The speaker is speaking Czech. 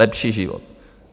Lepší život!